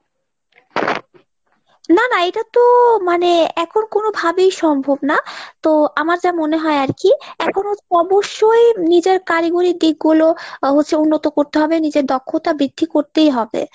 না না এইটাতো মানে এখন কোনোভাবেই সম্ভব না তো আমার যা মনে হয় আরকি এখন অবশ্যই নিজের কারিগরী দিকগুলো আহ হচ্ছে উন্নত করতে হবে নিজের দক্ষতা বৃদ্ধি করতেই হবে।